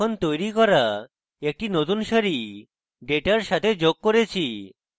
এখন তৈরী করা একটি নতুন সারি ডেটার সাথে যোগ করেছি